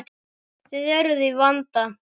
Þið eruð í vanda.